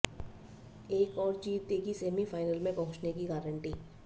एक और जीत देगी सेमीफ़ाइनल में पहुँचने की गारंटी